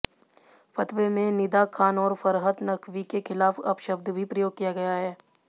फतवे में निदा खान और फरहत नकवी के खिलाफ अपशब्द भी प्रयोग किया गया है